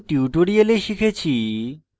in tutorial